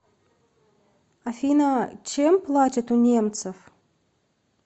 афина чем платят у немцев